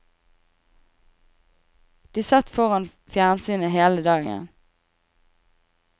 De satt foran fjernsynet hele dagen.